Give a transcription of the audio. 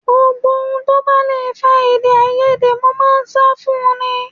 Gbogbo ohun tó bá le fa èdèàìyedè mo máa ń sá fún un ní